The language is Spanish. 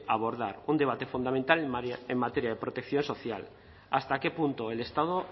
abordar un debate fundamental en materia de protección social hasta qué punto el estado